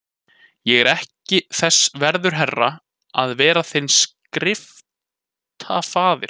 Ég er ekki þess verður herra, að vera þinn skriftafaðir, svaraði síra Björn.